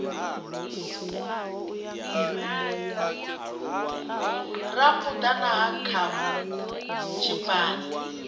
rambuḓa na ha khakhu tshiphani